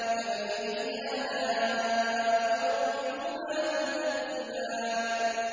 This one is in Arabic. فَبِأَيِّ آلَاءِ رَبِّكُمَا تُكَذِّبَانِ